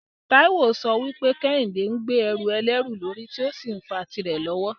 Taiwo ń sọ pé Kehinde ń gbé ẹrù ẹlẹ́rù lórí tí ó sì ń fa tìrẹ lọ́wọ́.